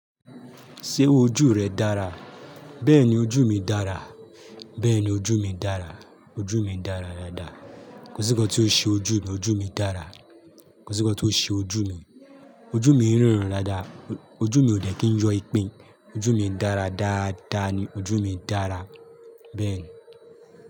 Ṣé ojú rẹ dára? Bẹ́ẹ̀ni ojú mi dára. Bẹ́ẹ̀ni ojú mi dára. Ojú mi ń dára dáadáa. Kò sí nǹkan tí ó ṣe ojú mi. Ojú mi dára. Kò sí nǹkan tí ó ṣe ojú mi. Ojú mi ń ríran dáadáa. Ojú mi ò dẹ̀ kí ń yọ ipin. Ojú mi ń dára dáadáa ni. Ojú mi dára. Bẹ́ẹ̀ni.